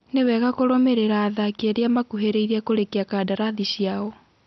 Nĩ wega kũrũmĩrĩra athaki arĩa makũhĩrĩirie kũrĩkia kadarathi cĩao.